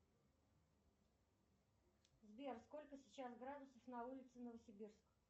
сбер сколько сейчас градусов на улице новосибирск